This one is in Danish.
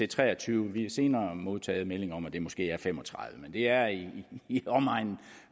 treogtyvende vi har senere modtaget meldinger om at det måske er fem og tredive men det er i i omegnen